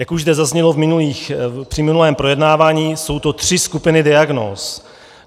Jak už zde zaznělo při minulém projednávání, jsou to tři skupiny diagnóz.